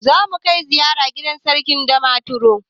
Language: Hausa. Zamu kai ziyara gidan Sarkin Damaturu.